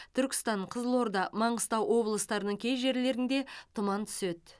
түркістан қызылорда маңғыстау облыстарының кей жерлеріңде тұман түседі